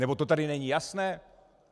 Nebo to tady není jasné?